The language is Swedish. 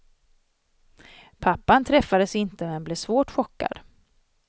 Pappan träffades inte, men blev svårt chockad.